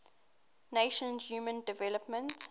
nations human development